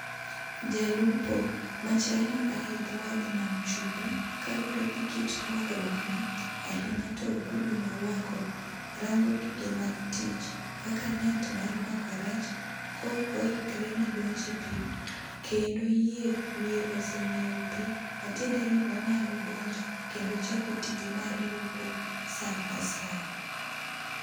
Jalupo ma chal ni ae dho wadh nam chumbi kaluwore gi kit rwakruok ne ahinya to ogudu morwako , rango gige mag tich kaka net mar mako rech ,ko oikre ne donje piii kendo yie wiye oseng'iyo pii matiende ni onyalo donjo kendo ochako tije mar lupo saa asaya.